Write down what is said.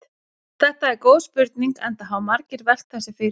Þetta er góð spurning enda hafa margir velt þessu fyrir sér.